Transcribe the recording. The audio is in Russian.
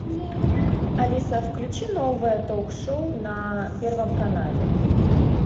алиса включи новое ток шоу на первом канале